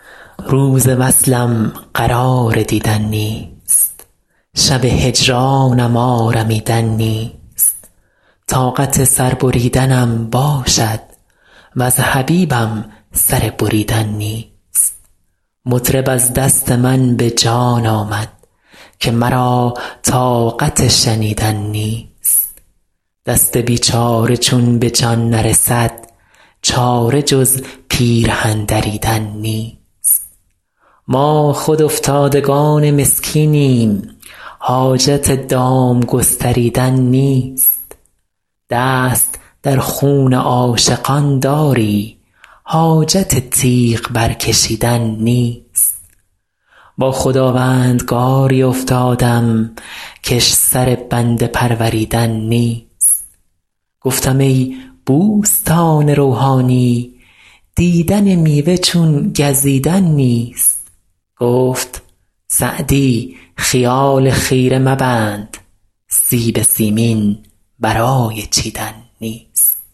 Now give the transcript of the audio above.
روز وصلم قرار دیدن نیست شب هجرانم آرمیدن نیست طاقت سر بریدنم باشد وز حبیبم سر بریدن نیست مطرب از دست من به جان آمد که مرا طاقت شنیدن نیست دست بیچاره چون به جان نرسد چاره جز پیرهن دریدن نیست ما خود افتادگان مسکینیم حاجت دام گستریدن نیست دست در خون عاشقان داری حاجت تیغ برکشیدن نیست با خداوندگاری افتادم کش سر بنده پروریدن نیست گفتم ای بوستان روحانی دیدن میوه چون گزیدن نیست گفت سعدی خیال خیره مبند سیب سیمین برای چیدن نیست